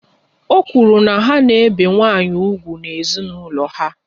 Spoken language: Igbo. Ọ kwuru na ha na-ebi nwanyị úgwù n'ezinaulo ha